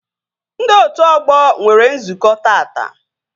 Ndị otu ọgbọ nwere nzukọ taata